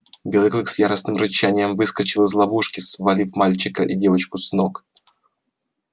белый клык с яростным рычанием выскочил из ловушки свалив мальчика и девочку с ног